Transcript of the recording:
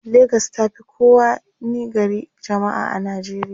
legas tafi kowa ni gari jamma'a a nijeriya